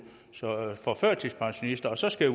for førtidspensionister og så skal